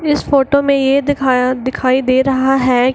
इस फोटो में ये दिखाया दिखाई दे रहा है |